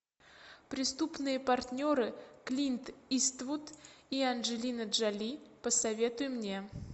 преступные партнеры клинт иствуд и анджелина джоли посоветуй мне